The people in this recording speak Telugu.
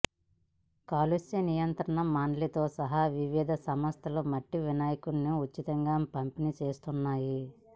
కాలుష్య నియంత్రణ మండలితో సహా వివిధ సంస్థలు మట్టి వినాయకులను ఉచితంగా పంపిణీ చేస్తున్నాయి